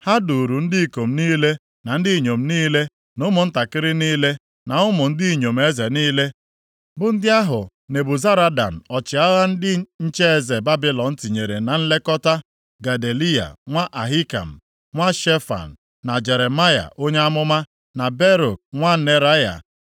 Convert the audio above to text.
Ha duuru ndị ikom niile na ndị inyom niile na ụmụntakịrị niile, na ụmụ ndị inyom eze niile, bụ ndị ahụ Nebuzaradan ọchịagha ndị nche eze Babilọn tinyere na nlekọta Gedaliya nwa Ahikam, nwa Shefan na Jeremaya onye amụma na Baruk nwa Neraya.